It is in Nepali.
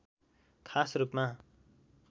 खास रूपमा